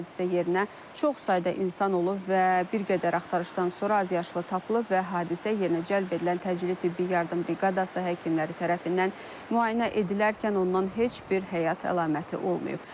Hadisə yerinə çox sayda insan olub və bir qədər axtarışdan sonra azyaşlı tapılıb və hadisə yerinə cəlb edilən təcili tibbi yardım briqadası həkimləri tərəfindən müayinə edilərkən ondan heç bir həyat əlaməti olmayıb.